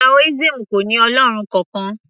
taoism kò ní ọlọ́run kankan